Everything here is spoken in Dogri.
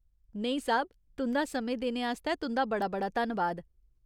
नेईं साह्ब। तुं'दा समें देने आस्तै तुं'दा बड़ा बड़ा धन्नबाद !